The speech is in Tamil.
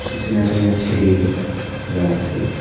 சுத்தி நெறைய செடி எல்லா இருக்கு.